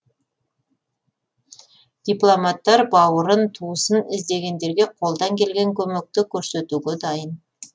дипломаттар бауырын туысын іздегендерге қолдан келген көмекті көрсетуге дайын